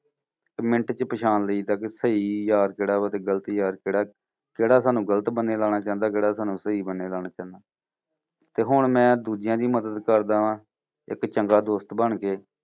ਇੱਕ ਮਿੰਟ ਚ ਪਛਾਣ ਲਈਦੇ ਕਿ ਸਹੀ ਯਾਰ ਕਿਹੜਾ ਵਾ ਤੇ ਗਲਤ ਯਾਰ ਕਿਹੜਾ, ਕਿਹੜਾ ਸਾਨੂੰ ਗ਼ਲਤ ਬੰਨ੍ਹੇ ਲਾਉਣਾ ਚੁਹੰਦੇ, ਕਿਹੜਾ ਸਾਨੂੰ ਸਹੀ ਬੰਨ੍ਹੇ ਲਾਉਣਾ ਚੁਹੰਦੇ ਤੇ ਹੁਣ ਮੈਂ ਦੂਜਿਆਂ ਦੀ ਮਦਦ ਕਰਦਾ ਹਾਂ, ਇੱਕ ਚੰਗਾ ਦੋਸਤ ਬਣ ਕੇ।